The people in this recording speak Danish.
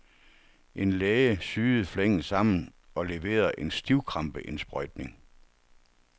En læge syede flængen sammen og leverede en stivkrampeindsprøjtning.